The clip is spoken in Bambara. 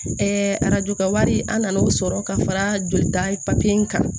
arajo kɛ wari an nan'o sɔrɔ ka fara jolita papiye in kan